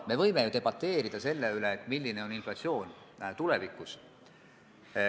Me võime ju debateerida selle üle, milline on inflatsioon tulevikus.